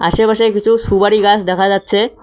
আশেপাশে কিছু সুবারি গাস দেখা যাচ্ছে।